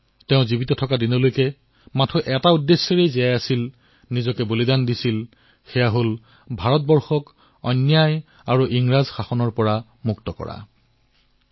তেওঁ জীয়াই থকালৈ কেৱল এটা অভিযানৰ বাবে নিজৰ জীৱন বলিদান দিছিল সেই অভিযান আছিল ভাৰতক অন্যায় আৰু ইংৰাজ শাসনৰ পৰা মুক্তি দিয়া